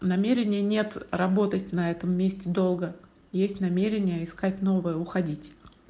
намерение нет работать на этом месте долго есть намерение искать новое уходить